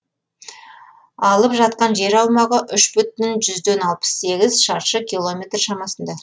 алып жатқан жер аумағы үш бүтін жүзден алпыс сегіз шаршы километр шамасында